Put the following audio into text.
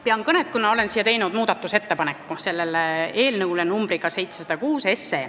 Pean kõnet, kuna olen teinud muudatusettepaneku eelnõu nr 706 kohta.